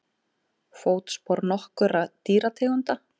Fótspor nokkurra dýrategunda.